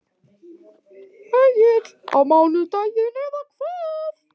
Egill: Á mánudaginn eða hvað?